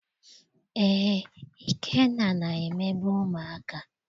Eé, Ikenna na-emegbu ụmụaka.